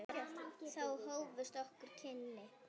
Þá hófust okkar kynni.